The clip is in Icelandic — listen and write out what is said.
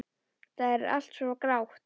Það er allt svo grátt.